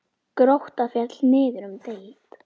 Grótta féll niður um deild.